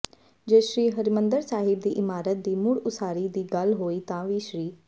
ਜੇ ਸ੍ਰੀ ਹਰਿਮੰਦਰ ਸਾਹਿਬ ਦੀ ਇਮਾਰਤ ਦੀ ਮੁੜ ਉਸਾਰੀ ਦੀ ਗੱਲ ਹੋਈ ਤਾਂ ਵੀ ਸ੍ਰ